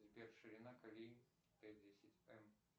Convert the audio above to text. сбер ширина колеи т десять м